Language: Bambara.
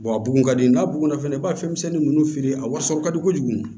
a bugun ka di n'a bugunna fɛnɛ i b'a fɛn misɛnnin nunnu feere a wasa ka di kojugu